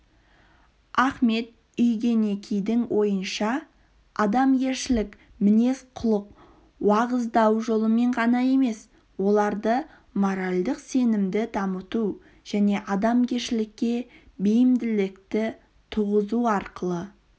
ахмет иүгенекидің ойынша адамгершілік мінез-құлық уағыздау жолымен ғана емес оларда моральдық сенімді дамыту және адамгершілікке бейімділікті туғызу арқылы